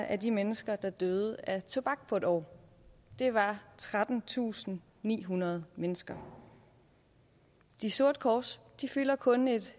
af de mennesker der døde af tobak på en år det var trettentusinde og nihundrede mennesker de sorte kors fylder kun et